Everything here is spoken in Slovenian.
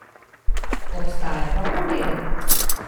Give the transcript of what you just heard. Obstaja pa problem!